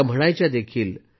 त्या म्हणायच्या देखील